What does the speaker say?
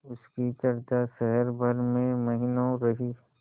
उसकी चर्चा शहर भर में महीनों रही